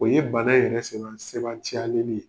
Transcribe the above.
O ye bana yɛrɛ sɛba sebantiyaleli ye.